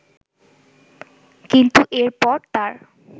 কিন্তু এরপর তার